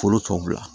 Foro tɔ bila